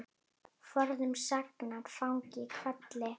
Forðum saxað fang í hvelli.